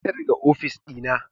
Fita daga ofis ɗina!